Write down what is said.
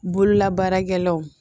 Bololabaarakɛlaw